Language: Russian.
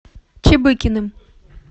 чебыкиным